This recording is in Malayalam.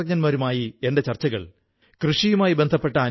തിരുക്കുറളിന്റെ പ്രചാരത്തെക്കുറിച്ച് കേട്ടിട്ട് വളരെ സന്തോഷം തോന്നി